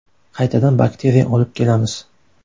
Qaytadan bakteriya olib kelamiz.